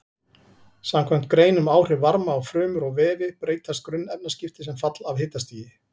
Samkvæmt grein um áhrif varma á frumur og vefi breytast grunnefnaskipti sem fall af hitastigi.